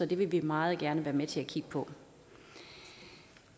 det vil vi meget gerne være med til at kigge på